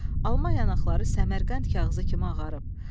alma yanaqları Səmərqənd kağızı kimi ağarıb.